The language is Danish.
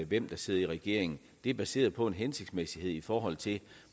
hvem der sidder i regering det er baseret på en hensigtsmæssighed i forhold til